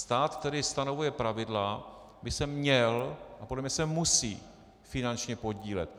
Stát, který stanovuje pravidla, by se měl a podle mě se musí finančně podílet.